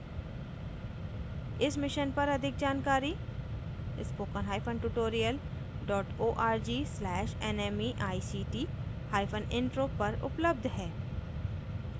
इस mission पर अधिक जानकारी spokentutorial org/nmeictintro पर उपलब्ध है